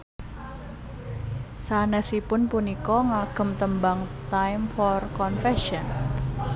Sanèsiipun punika ngagem tembang Time For Confession